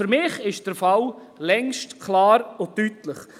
Für mich ist der Fall längst klar und deutlich: